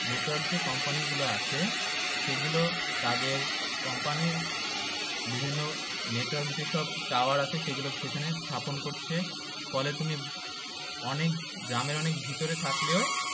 Network যে company গুলো আছে সে গুলো তাদের company র বিভিন্ন network যেসব tower আছে সেগুলো সেখানে স্থাপন করছে ফলে তুমি অনেক গ্রামের অনেক ভেতরে থাকলেও